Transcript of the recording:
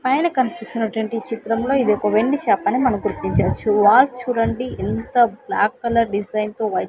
పైన కన్పిస్తున్నటువంటి చిత్రంలో ఇదొక వెండి షాప్ అని మనం గుర్తించవచ్చు వాచ్ చూడండి ఎంత బ్లాక్ కలర్ డిజైన్ తో వై --